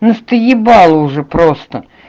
настоебало уже просто